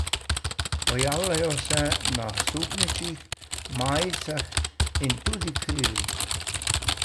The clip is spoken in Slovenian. Pojavljajo se na suknjičih, majicah in tudi krilih.